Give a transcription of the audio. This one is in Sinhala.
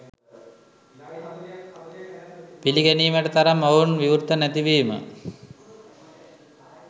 පිළිගැනීමට තරම් ඔවුන් විවෘත නැති වීම